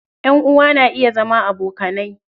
Ƴan uwa na iya zama abokanai.